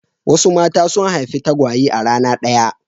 Wasu mata sun haifi tagwaye a rana ɗaya.